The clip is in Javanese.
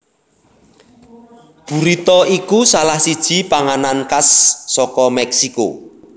Burrito iku salah siji panganan khas saka Mèksiko